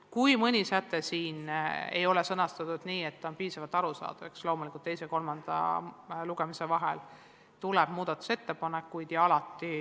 Kui mõni säte siin ei ole sõnastatud nii, et on piisavalt arusaadav, siis loomulikult saab teise ja kolmanda lugemise vahel teha muudatusettepanekuid.